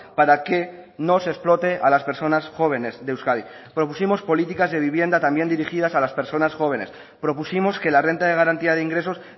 para que no se explote a las personas jóvenes de euskadi propusimos políticas de vivienda también dirigidas a las personas jóvenes propusimos que la renta de garantía de ingresos